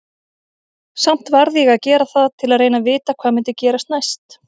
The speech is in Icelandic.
Samt varð ég að gera það til að reyna að vita hvað myndi gerast næst.